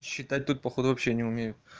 считать тут походу вообще не умею